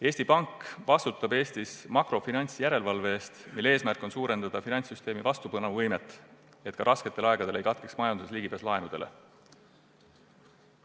Eesti Pank vastutab Eestis makrofinantsjärelevalve teostamise eest, mille eesmärk on suurendada finantssüsteemi vastupanuvõimet, et ka rasketel aegadel ei katkeks majanduses ligipääs laenudele.